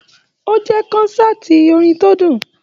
O jẹ kọ́nsàtii orin tó dùn.